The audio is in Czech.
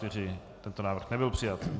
Tento návrh nebyl přijat.